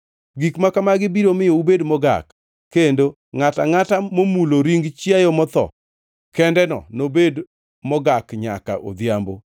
“ ‘Gik makamagi biro miyo ubed mogak, kendo ngʼato angʼata momulo ring chiayo motho kendeno nobed mogak nyaka odhiambo.